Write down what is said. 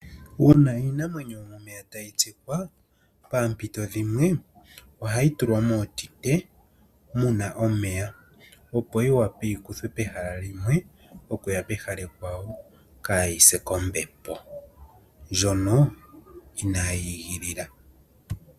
Uuna iinamwenyo yomomeya ta yi tsikwa paampito dhimwe oha yi tulwa mootite muna omweya opo yi wape yikuthwe pehala limwe oku ya pehala ekwawo kaa yi se kombembo ndjono inaye yi igilila.